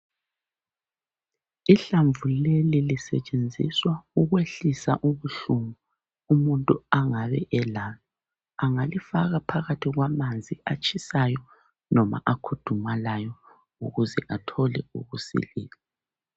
Ihlamvu leli lisetshenziswa ukwehlisa ubuhlungu umuntu angabe elabo. Angakifaka phakathi kwamanzi atshisayo loba akhudumalayo ukuze athole ukusila